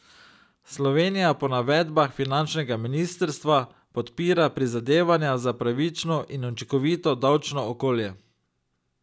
Slovenija po navedbah finančnega ministrstva podpira prizadevanja za pravično in učinkovito davčno okolje.